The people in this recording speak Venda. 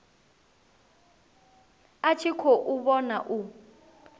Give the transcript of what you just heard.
a tshi khou vhona u